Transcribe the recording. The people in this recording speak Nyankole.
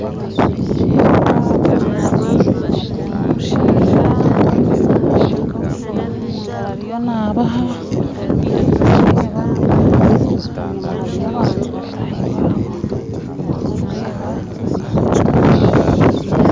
Nindeeba abakazi n'omushaija aine obusoda omu ngaro ariyo naabaha, nindeeba enyima hariyo abantu bataahi baabo, nindeeba bemeriire.